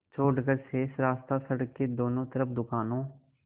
छोड़कर शेष रास्ता सड़क के दोनों तरफ़ दुकानों